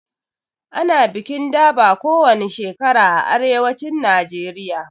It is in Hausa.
Ana bikin durbar kowani shekara a arewacin Najeriya